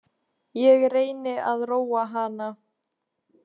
Ég reyni að róa hana.